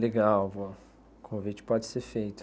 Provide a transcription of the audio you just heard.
Legal, o convite pode ser feito.